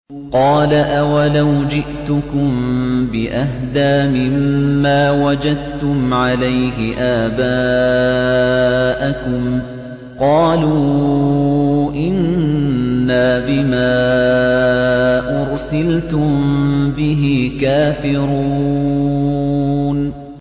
۞ قَالَ أَوَلَوْ جِئْتُكُم بِأَهْدَىٰ مِمَّا وَجَدتُّمْ عَلَيْهِ آبَاءَكُمْ ۖ قَالُوا إِنَّا بِمَا أُرْسِلْتُم بِهِ كَافِرُونَ